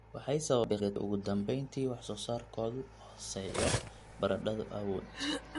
waxay sababtaa biqil liidata iyo ugu dambayntii wax soo saarkoodu hooseeyo. Baradhadu awood